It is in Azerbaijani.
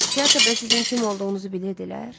Teatrda sizin kim olduğunuzu bilirdilər?